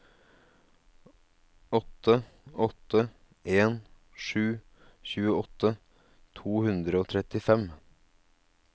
åtte åtte en sju tjueåtte to hundre og trettifem